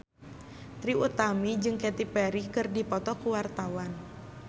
Trie Utami jeung Katy Perry keur dipoto ku wartawan